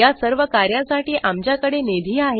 या सर्व कार्या साठी आमच्या कडे निधी आहे